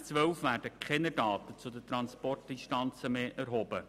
Seit 2012 werden keine Daten zu den Transportdistanzen mehr erhoben.